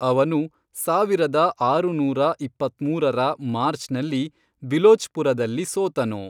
ಅವನು ಸಾವಿರದ ಆರುನೂರ ಇಪ್ಪತ್ಮೂರರ ಮಾರ್ಚ್ನಲ್ಲಿ ಬಿಲೋಚ್ಪುರದಲ್ಲಿ ಸೋತನು.